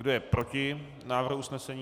Kdo je proti návrhu usnesení?